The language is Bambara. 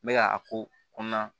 N bɛ ka a ko kɔnɔna